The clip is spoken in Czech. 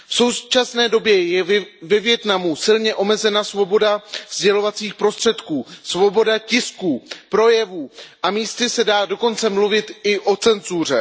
V současné době je ve Vietnamu silně omezena svoboda sdělovacích prostředků, svoboda tisku, projevu a místy se dá dokonce mluvit i o cenzuře.